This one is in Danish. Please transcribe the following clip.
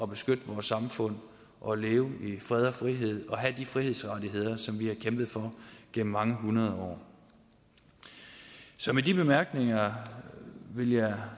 beskytte vores samfund og leve i fred og frihed og have de frihedsrettigheder som vi har kæmpet for gennem mange hundrede år så med de bemærkninger vil jeg